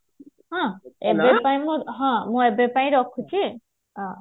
ହଁ ଏବେ ପାଇଁ ହଁ ମୁଁ ଏବେ ପାଇଁ ରଖୁଛି